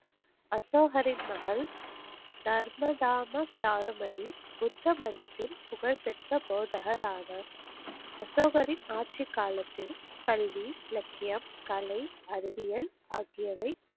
அசோகரின் மகள், நர்மதாம சாருமதி புத்த மதத்தில் புகழ் பெற்ற போதகர் ஆவர். அசோகரின் ஆட்சி காலத்தில் கல்வி, இலக்கியம், கலை, அறிவியல், ஆகியவை,